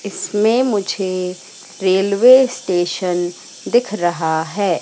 इसमें मुझे railway station दिख रहा है।